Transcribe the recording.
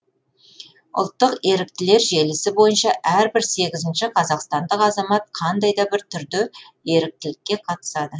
ұлттық еріктілер желісі бойынша әрбір сегізінші қазақстандық азамат қандай да бір түрде еріктілікке қатысады